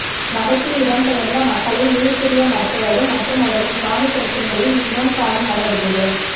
வடக்கில் இடம்பெயர்ந்த மக்களை மீள்குடியமர்த்துவது மற்றும் அவர்களின் காணி பிரச்சினைகளை இனம் காணும் நடவடிக்கைகளை